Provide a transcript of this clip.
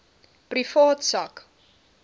privaat sak